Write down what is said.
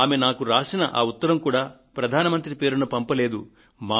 ఆమె నాకు రాసిన ఆ ఉత్తరం కూడా ప్రధాన మంత్రి పేరున పంపలేదు